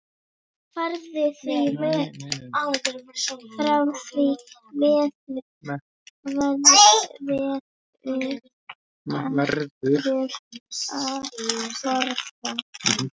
Frá því verður að forða.